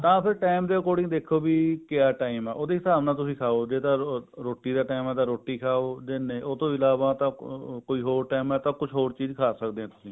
ਹਾਂ ਫ਼ੇਰ ਟੇਮ ਦੇ according ਦੇਖੋ ਵੀ ਕਿਆ time ਹੈ ਉਹਦੇ ਹਿਸਾਬ ਨਾਲ ਤੁਸੀਂ ਖਾਓ ਜੇ ਤਾਂ ਰੋਟੀ ਦਾ time ਹੈ ਤਾਂ ਰੋਟੀ ਖਾਓ ਉਹਤੋਂ ਇਲਾਵਾ ਤਾਂ ਕੋਈ ਹੋਰ time ਹੈ ਤਾਂ ਕੁਝ ਹੋਰ ਚੀਜ਼ ਖਾ ਸਕਦੇ ਹਾਂ